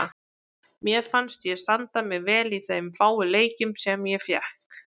Mér fannst ég standa mig vel í þeim fáu leikjum sem ég fékk.